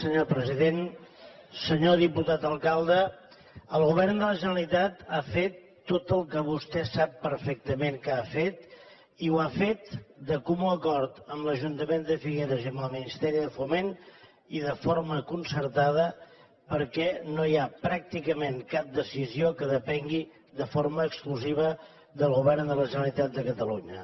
senyor diputat alcalde el govern de la generalitat ha fet tot el que vostè sap perfectament que ha fet i ho ha fet de comú acord amb l’ajuntament de figueres i amb el ministeri de foment i de forma concertada perquè no hi ha pràcticament cap decisió que depengui de forma exclusiva del govern de la generalitat de catalunya